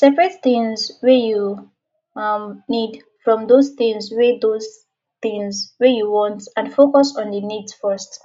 separate things wey you um need from those things wey those things wey you want and focus on di needs first